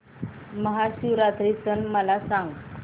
महाशिवरात्री सण मला सांग